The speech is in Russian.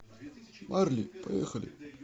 марли поехали